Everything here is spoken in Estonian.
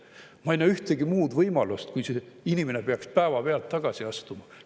Ma ei näe ühtegi muud võimalust, kui et see inimene peaks päevapealt tagasi astuma.